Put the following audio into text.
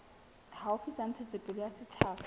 haufi tsa ntshetsopele ya setjhaba